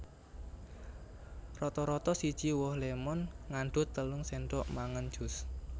Rata rata siji woh lémon ngandhut telung sendhok mangan jus